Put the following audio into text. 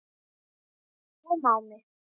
Hik kom á mig.